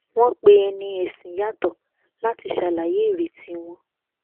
wọn pe ẹni ẹsìn yàtọ láti ṣàlàyé ireti wọn